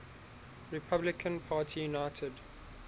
republican party united